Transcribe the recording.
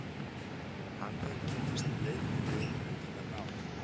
Hann hefur varla misst úr leik með liðinu undanfarin ár.